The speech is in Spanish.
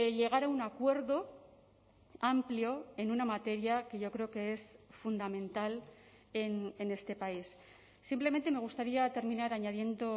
llegar a un acuerdo amplio en una materia que yo creo que es fundamental en este país simplemente me gustaría terminar añadiendo